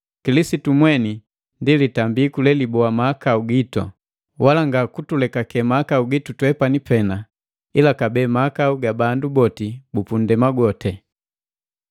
Kilisitu mweni ndi litambiku leliboa mahakau gitu; wala nga kutulekake mahakau gitu twepani pena, ila kabee mahakau ga bandu boti bu punndema gwoti.